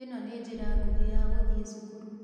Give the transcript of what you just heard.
ĩno nĩ njĩra nguhĩ ya guthiĩ cukuru.